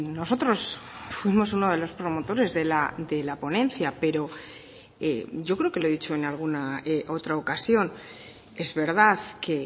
nosotros fuimos uno de los promotores de la ponencia y creo que lo he dicho en alguna otra ocasión es verdad que